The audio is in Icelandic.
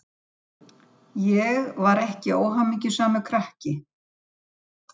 Esí, einhvern tímann þarf allt að taka enda.